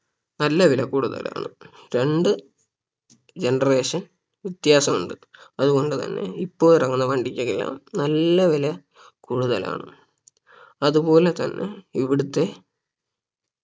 നല്ല വില കൂടുതലാണ് രണ്ട് generation വ്യത്യാസം ഉണ്ട് അതുകൊണ്ട് തന്നെ ഇപ്പൊ ഇറങ്ങുന്ന വണ്ടിക്കൊക്കെ നല്ല വില കൂടുതലാണ് അതുപോലേ തന്നെ ഇവിടുത്തെ